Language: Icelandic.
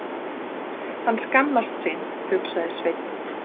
Hann skammast sín, hugsaði Sveinn.